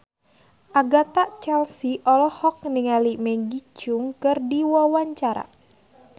Agatha Chelsea olohok ningali Maggie Cheung keur diwawancara